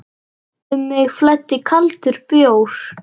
Um mig flæddi kaldur bjór.